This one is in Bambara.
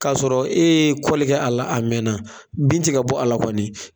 O y'a sɔrɔ e ye kɛ a la a mɛnna bin tiga bɔ a la kɔni